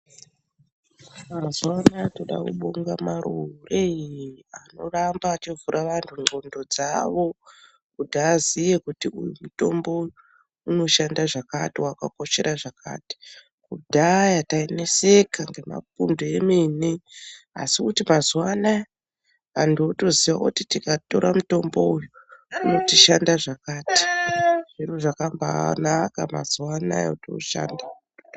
Mazuwanaya toda kubonga marure anoramba achivhura vantu ngondo dzawo kuti aziye kuti uyu mutombo unoshanda zvakati wakakoshera zvakati kudhaya taineseka ngemapundu emene asi kuti mazuwanaya antu otoziya kuti tikatora mutombo uyu unotishanda zvakati zviro zvakambanaka mazuwanaya kuti ushande